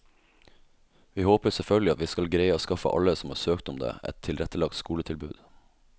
Vi håper selvfølgelig at vi skal greie å skaffe alle som har søkt om det, et tilrettelagt skoletilbud.